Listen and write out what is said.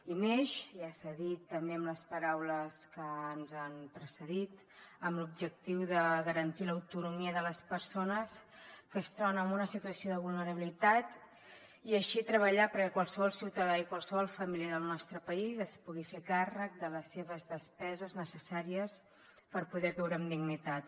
i neix ja s’ha dit també amb les paraules que ens han precedit amb l’objectiu de garantir l’autonomia de les persones que es troben en una situació de vulnerabilitat i així treballar perquè qualsevol ciutadà i qualsevol família del nostre país es pugui fer càrrec de les seves despeses necessàries per poder viure amb dignitat